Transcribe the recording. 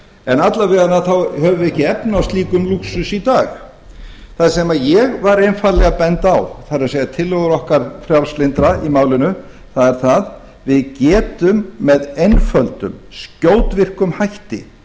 en alla vega höfum við ekki efni á slíkum lúxus í dag það sem ég var einfaldlega að benda á það er tillögur okkar frjálslyndra í málinu er það að við getum með einföldum skjótvirkum hætti